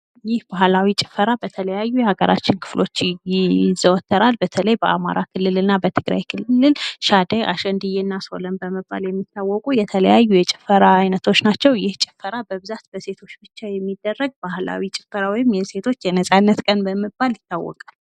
ይህ ባህላዊ ጭፈራ በተለያዩ የሀገራችን ክፍሎች ይዘወትራል። በተለይ በአማራ ክልልና በትግራይ ክልል ሻደይ ሶለም በመባል የሚታወቁ የተለያዩ የጭፈራ አይነቶች ናቸው። ይህ ጭፈራ በብዛት በሴቶች ብቻ የሚደረግ ባህላዊ ጭፈራ የሴቶች የነፃነት ቀን በሚባል ይታወቃል።